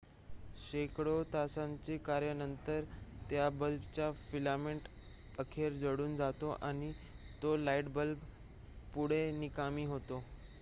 शेकडो तासांच्या कार्यानंतर त्या बल्बचा फिलामेंट अखेर जळून जातो आणि तो लाईट बल्ब पुढे निकामी होतो